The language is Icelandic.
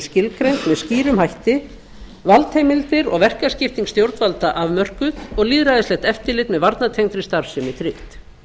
skilgreind með skýrum hætti valdheimildir og verkaskipting stjórnvalda afmörkuð og lýðræðislegt eftirlit með varnartengdri starfsemi tryggt